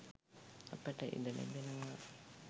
අපට ඉඩ ලැබෙනවා.